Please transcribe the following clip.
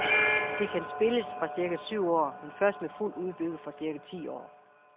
Det kan spilles fra cirka syv år, men først med fuldt udbytte fra cirka ti år.